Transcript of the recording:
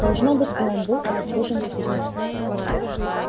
должно быть и он был разбужен криком